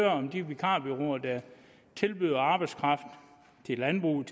om de vikarbureauer der tilbyder arbejdskraft til landbruget